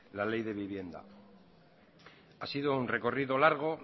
la ley de vivienda ha sido un recorrido largo